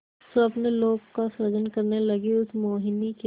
स्वप्नलोक का सृजन करने लगीउस मोहिनी के